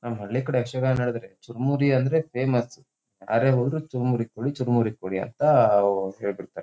ನಮ್ ಹಳ್ಳಿ ಕಡೆ ಯಕ್ಷಗಾನ ನಡೆದರೆ ಚುರಮುರಿ ಅಂದ್ರೆ ಫೇಮಸ್ ಯಾರೇ ಹೋದರು ಚುರಮುರಿ ಕೊಡಿ ಚುರಮುರಿ ಕೊಡಿ ಅಂತ ಹೇಳ್ ಬಿಡ್ತಾರೆ.